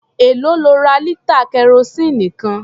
Èlòó lo ra lítà kẹrosíìnì kan?